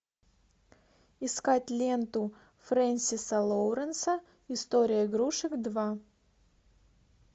искать ленту фрэнсиса лоуренса история игрушек два